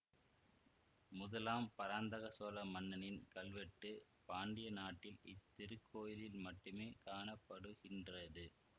முதலாம் பராந்தகச் சோழ மன்னனின் கல்வெட்டு பாண்டிய நாட்டில் இத்திருக்கோயிலில் மட்டுமே காண படுகின்றது